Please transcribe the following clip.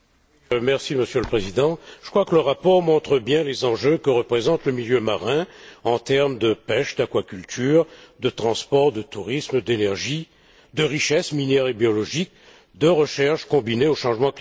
Monsieur le Président, je crois que le rapport montre bien les enjeux que représente le milieu marin en termes de pêche, d'aquaculture, de transport, de tourisme, d'énergie, de richesses minières et biologiques, de recherches liées aux changements climatiques.